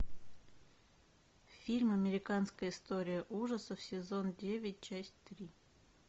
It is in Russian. фильм американская история ужасов сезон девять часть три